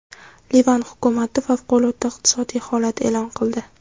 Livan hukumati favqulodda iqtisodiy holat e’lon qildi.